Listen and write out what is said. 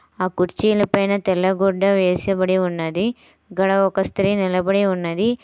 ఆ కుర్చీలు పైన తెల్ల గుడ్డ వేసిబడి ఉన్నది. గాడ ఒక స్త్రీ నిలబడి ఉన్నది.